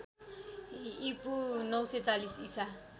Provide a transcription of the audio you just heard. ईपू ९४० ईसा